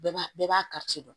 Bɛɛ b'a bɛɛ b'a ka ci dɔn